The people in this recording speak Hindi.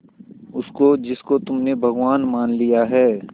उसको जिसको तुमने भगवान मान लिया है